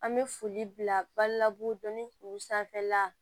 An bɛ foli bila balila dɔni kuru sanfɛla la